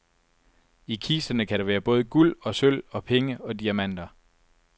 I kisterne kan der være både guld og sølv og penge og diamanter.